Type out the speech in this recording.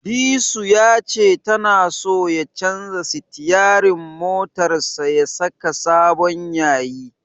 Disu ya ce tana so ya canja sitiyarin motarsa ya saka sabon yayi.